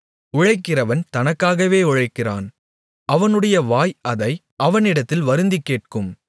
உழைக்கிறவன் தனக்காகவே உழைக்கிறான் அவனுடைய வாய் அதை அவனிடத்தில் வருந்திக் கேட்கும்